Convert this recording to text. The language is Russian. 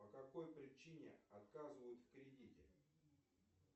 по какой причине отказывают в кредите